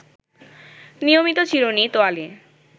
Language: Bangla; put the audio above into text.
নিয়মিত চিরুনি, তোয়ালে